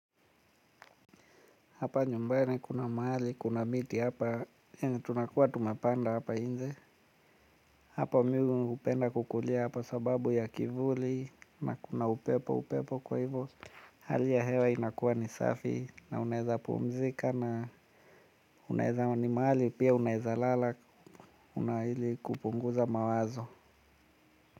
Hapa nyumbani kuna mahali, kuna miti hapa, yenye tunakuwa tumepanda hapa inje. Hapa mi hupenda kukulia hapa sababu ya kivuli na kuna upepo upepo kwa hivo hali ya hewa inakuwa ni safi na unaweza pumzika na unaweza ni mahali pia unaweza lala, una, ili kupunguza mawazo.